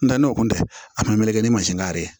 N tɛ n'o kun tɛ a kun meleke ni mansin na yɛrɛ